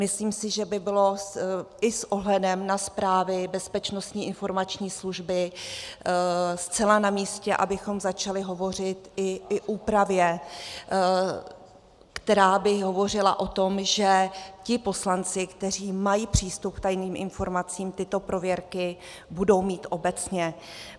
Myslím si, že by bylo i s ohledem na zprávy Bezpečnostní informační služby zcela namístě, abychom začali hovořit i o úpravě, která by hovořila o tom, že ti poslanci, kteří mají přístup k tajným informacím, tyto prověrky budou mít obecně.